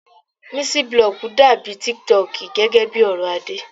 Miciblog dàbí tiktok gẹ́gẹ́ bí ọ̀rọ̀ Adé.